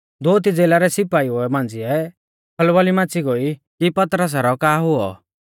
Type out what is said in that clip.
दोअती ज़ेला रै सिपाइऊ मांझ़िऐ खलबली मच़ी गोई कि पतरसा रौ का हुऔ